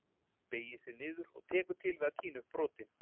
Beygir sig niður og tekur til við að tína upp brotin.